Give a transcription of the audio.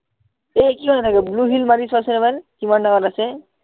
এই কি হয় এনেকে blue মাৰি চোৱাচোন এবাৰ কিমান ডাঙৰ আছে